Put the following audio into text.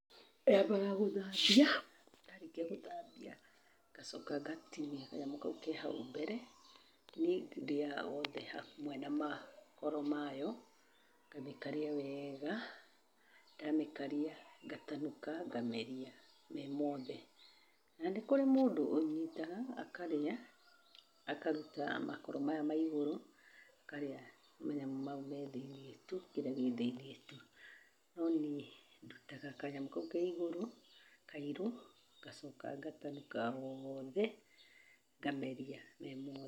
Nyambaga gũthambia, ndarĩkia gũthambia ngacoka ngatinia kanyamũ kau ke hau mbere, niĩ ndĩaga wothe hamwe na makoro mayo, ngamĩkaria weega, ndamĩkaria ngatanuka ngameria me mothe. Na nĩ kũrĩ mũndũ ũnyitaga akarĩa akaruta makoro maya ma igũrũ akarĩa manyamũ mau me thĩiniĩ tu, kĩrĩa gĩ thĩiniĩ tu no niĩ ndutaga kanyamũ kau ke igũrũ kairũ ngacoka ngatanuka woothe ngameria me mothe.